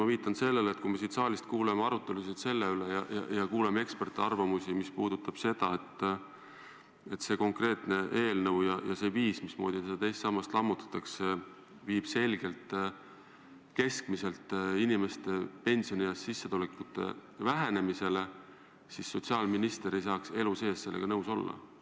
Ma viitan sellele, et kui me siin saalis kuulame arutelusid selle teema üle, kuulame eksperdiarvamusi, et see eelnõu ja see viis, mismoodi teist sammast lammutatakse, viib ilmselgelt pensionieas inimeste keskmiste sissetulekute vähenemisele, siis sotsiaalminister ei tohiks elu sees sellega nõus olla.